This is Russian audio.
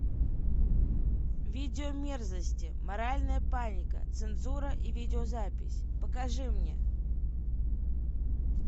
видеомерзости моральная паника цензура и видеозапись покажи мне